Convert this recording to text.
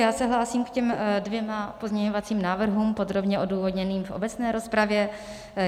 Já se hlásím k těm dvěma pozměňovacím návrhům podrobně odůvodněným v obecné rozpravě.